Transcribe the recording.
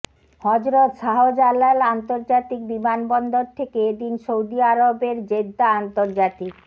হজরত শাহজালাল আন্তর্জাতিক বিমানবন্দর থেকে এদিন সৌদি আরবের জেদ্দা আন্তর্জাতিক